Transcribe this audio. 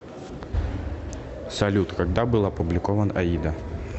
салют когда был опубликован аида